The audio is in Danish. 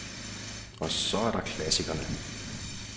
Og så er der klassikerne.